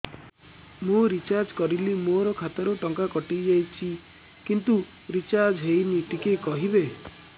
ମୁ ରିଚାର୍ଜ କରିଲି ମୋର ଖାତା ରୁ ଟଙ୍କା କଟି ଯାଇଛି କିନ୍ତୁ ରିଚାର୍ଜ ହେଇନି ଟିକେ କହିବେ